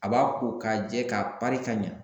A b'a ko k'a jɛ k'a pari ka ɲɛ